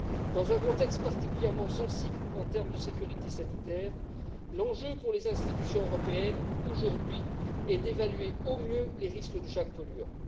Dans un contexte particulièrement sensible en termes de sécurité sanitaire, l'enjeu pour les institutions européennes, aujourd'hui, est d'évaluer au mieux les risques liés à chaque polluant.